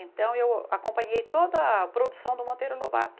Então, eu acompanhei toda a produção do Monteiro Lobato.